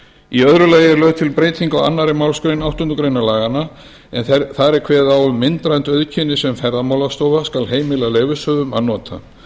í öðru lagi er lögð til breyting á annarri málsgrein áttundu grein laganna en þar er kveðið á um myndrænt einkenni sem ferðamálastofa skal heimila leyfishöfum að nota